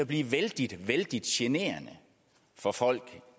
blive vældig vældig generende for folk